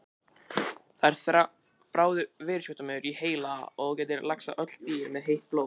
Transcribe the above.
Það er bráður veirusjúkdómur í heila og getur lagst á öll dýr með heitt blóð.